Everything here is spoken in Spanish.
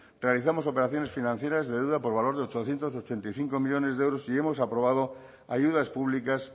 realizamos operaciones financieras de deuda por valor de ochocientos ochenta y cinco millónes de euros y hemos aprobado ayudas públicas